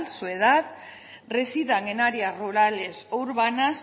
su edad residan en áreas rurales o urbanas